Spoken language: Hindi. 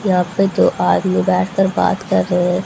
यहां पे दो आदमी बैठकर बात कर रहे हैं।